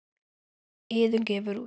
Iðunn gefur út.